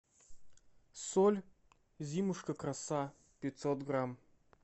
соль зимушка краса пятьсот грамм